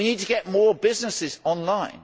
We need to get more businesses online.